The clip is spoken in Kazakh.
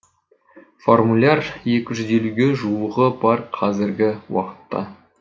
формуляр екі жүз елуге жуығы бар қазіргі уақытта